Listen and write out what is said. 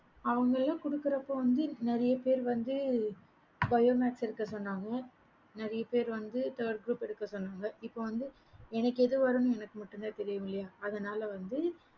அவங்கள குடுக்கற அப்ப வந்து நிறைய பேர் வந்து bio maths எடுக்க சொன்னாங்க நெறைய பேர் வந்து third group எடுக்க சொன்னாங்க இப்ப வந்து எனக்கு எது வரும் எனக்கு தான் தெரியும் இல்லையா அதுனால வந்து